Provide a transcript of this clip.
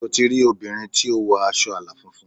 Sé o ti rí obìnrin tí ó wọ aṣọ àlà funfun?